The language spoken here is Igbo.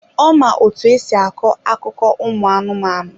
Ọ ma otú e si akọ akụkọ ụmụ anụmanụ.